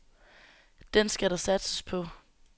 Den skal der satses på.